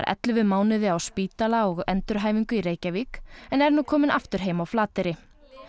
ellefu mánuði á spítala og í endurhæfingu í Reykjavík en er nú komin aftur heim á Flateyri